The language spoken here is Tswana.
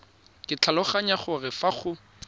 ke tlhaloganya gore fa go